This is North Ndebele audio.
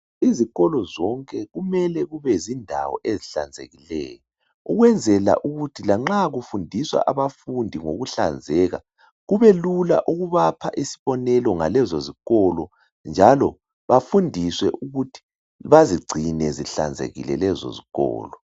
Izokolo zonke kumele kubezindawo ezihlanzekileyo ukwenzela ukuthi lanxa kufundiswa abafundi ngokuhlanzeka kubelula ukubapha isibonelo ngalezo zikolo njalo bafundiswe ukuthi bazigcine zihlanzekile lezo zikolo.